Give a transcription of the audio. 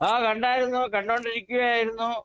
ആ കണ്ടാരുന്നു കണ്ടോണ്ടിരിക്കുകയായിരുന്നു